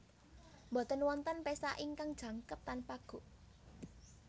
Boten wonten pesta ingkang jangkep tanpa guk